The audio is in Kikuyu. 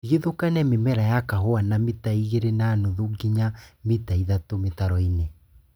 Tigithũkania mĩmera ya kahũa na mita igĩrĩ na nuthu nginya mita ithatũ mĩtaroinĩ